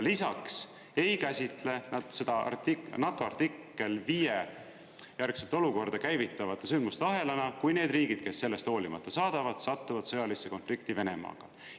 Lisaks ei käsitle nad seda NATO artikkel 5 järgset olukorda käivitavate sündmuste ahelana, kui need riigid, kes sellest hoolimata saadavad, satuvad sõjalisse konflikti Venemaaga.